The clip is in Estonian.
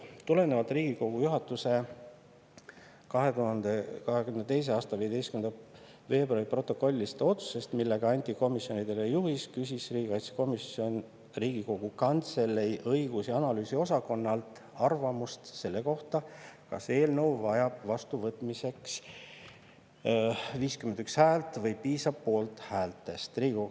" Tulenevalt Riigikogu juhatuse 2022. aasta 15. veebruari protokollilisest otsusest, millega anti komisjonidele juhis, küsis riigikaitsekomisjon Riigikogu Kantselei õigus‑ ja analüüsiosakonnalt arvamust selle kohta, kas eelnõu vajab vastuvõtmiseks 51 häält või piisab poolthäälte.